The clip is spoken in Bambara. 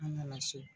An nana so